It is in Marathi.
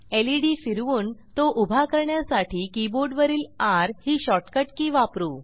लेड फिरवून तो उभा करण्यासाठी कीबोर्डवरील र ही शॉर्टकट के वापरू